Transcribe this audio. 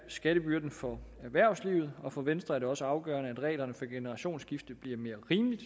skattebyrden for erhvervslivet og for venstre er det også afgørende at reglerne for generationsskifte bliver mere rimelige